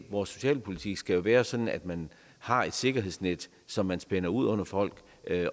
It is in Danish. vores socialpolitik skal jo være sådan at man har et sikkerhedsnet som man spænder ud under folk